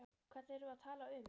Hvern erum við að tala um?